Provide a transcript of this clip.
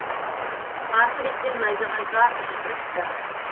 қарсы беттен найзағай жарқ жұрқ етті